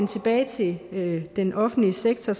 tilbage til den offentlige sektor